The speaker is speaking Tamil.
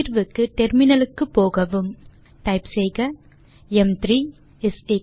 தீர்வுக்கு டெர்மினலுக்கு போகவும் ம்3 ஐ இப்படி உருவாக்கலாம்